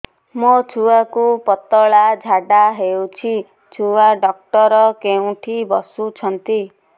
ମୋ ଛୁଆକୁ ପତଳା ଝାଡ଼ା ହେଉଛି ଛୁଆ ଡକ୍ଟର କେଉଁଠି ବସୁଛନ୍ତି